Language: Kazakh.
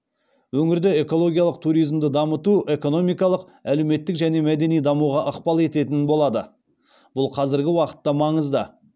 өңірде экологиялық туризмді дамыту экономикалық әлеуметтік және мәдени дамуға ықпал ететін болады бұл қазіргі уақытта маңызды